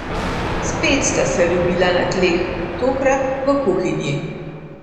Spet sta se ljubila na tleh, tokrat v kuhinji.